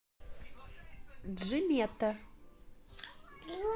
джимета